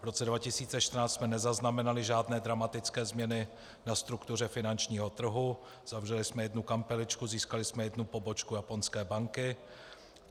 V roce 2014 jsme nezaznamenali žádné dramatické změny na struktuře finančního trhu, zavřeli jsme jednu kampeličku, získali jsme jednu pobočku japonské banky.